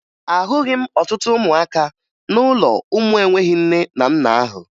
Ahụghị m ọtụtụ ụmụaka n'ụlọ ụmụ enweghi nne na nna ahụ